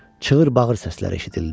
Çığır-bağır səslər eşidildi.